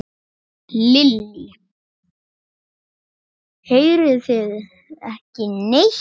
Lillý: Heyrið þið ekki neitt?